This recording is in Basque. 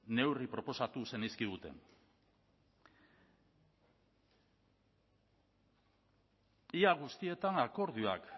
neurri proposatu zenizkiguten ia guztietan akordioak